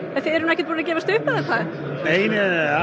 þið eruð ekkert búin að gefast upp nei